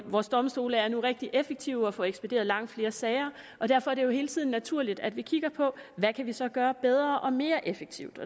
vores domstole er nu rigtig effektive og får ekspederet langt flere sager og derfor er det jo hele tiden naturligt at vi kigger på hvad vi så kan gøre bedre og mere effektivt